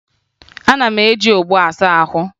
A na-eji ogbo asa ahụ